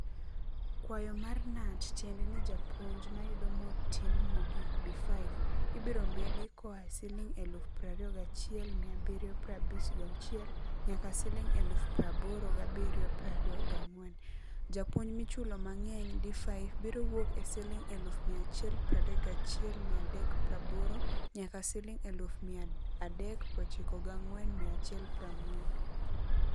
Kwayo mar Knut tiende ni japuonj mayudo motin mogik(B5) ibiro medi koa siling eluf prario gachiel mia abirio prabich gauchiel nyaka siling eluf praboro gabirio prario gang'wen. Japuonj michulo mang'eny (D5) biro wuok e siling eluf mia achiel pradek gachiel mia adek praboro nyaka siling eluf mia adek prochiko gang'wen mia achiel prang'wen.